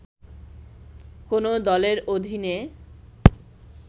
“কোন দলের অধীনে